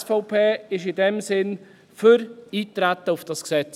Die SVP ist in diesem Sinne für das Eintreten auf dieses Gesetz.